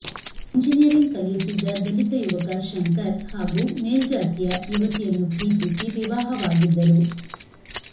engineering ಕಲಿಯುತ್ತಿದ್ದ ದಲಿತ ಯುವಕ ಶಂಕರ್ ಹಾಗೂ ಮೇಲ್ಜಾತಿಯ ಯುವತಿಯನ್ನು ಪ್ರೀತಿಸಿ ವಿವಾಹವಾಗಿದ್ದರು